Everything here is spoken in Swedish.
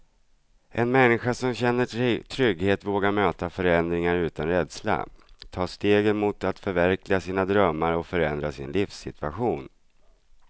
En människa som känner trygghet vågar möta förändringar utan rädsla, ta stegen mot att förverkliga sina drömmar och förändra sin livssituation.